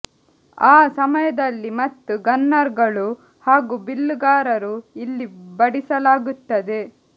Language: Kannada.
ಆ ಸಮಯದಲ್ಲಿ ಮತ್ತು ಗನ್ನರ್ ಗಳು ಹಾಗೂ ಬಿಲ್ಲುಗಾರರು ಇಲ್ಲಿ ಬಡಿಸಲಾಗುತ್ತದೆ